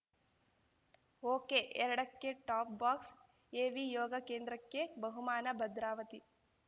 ಓಕೆಎರಡಕ್ಕೆ top box AV Yoga ಕೇಂದ್ರಕ್ಕೆ ಬಹುಮಾನ ಭದ್ರಾವತಿ